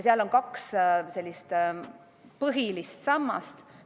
Seal on kaks põhilist sammast.